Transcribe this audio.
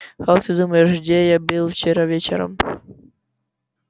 как ты думаешь где я был вчера вечером